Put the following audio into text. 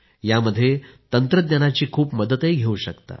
यात तंत्रज्ञानाची खूप मदत घेऊ शकता